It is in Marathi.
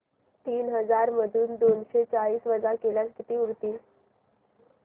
तीन हजार मधून दोनशे चाळीस वजा केल्यास किती उरतील